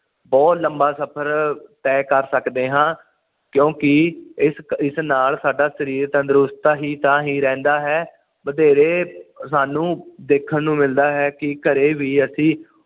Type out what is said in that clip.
ਬੁਹਤ ਲੰਬਾ ਸਫ਼ਰ ਤਹਿ ਕਰ ਸਕਦੇ ਹਾਂ ਕਿਉਂਕਿ ਇਸ ਇਸਨਾਲ ਸਾਡਾ ਸਰੀਰ ਤੰਦਰੁਸਤ ਤਾਹੀ ਤੇ ਤਾ ਹੀ ਰਹਿੰਦਾ ਏ ਬਥੇਰੇ ਸਾਨੂੰ ਦੇਖਣ ਨੂੰ ਮਿਲਦਾ ਹੈ ਕਿ ਘਰੇ ਵੀ ਅਸੀਂ